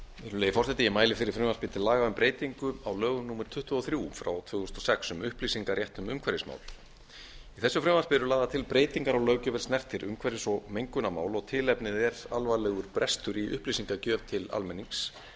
virðulegi forseti ég mæli fyrir frumvarp til laga um breytingu á lögum númer tuttugu og þrjú tvö þúsund og sex um upplýsingarétt um umhverfismál í þessu frumvarpi eru lagðar til breytingar á löggjöf er snertir umhverfis og mengunarmál og tilefnið er alvarlegur brestur í upplýsingagjöf til almennings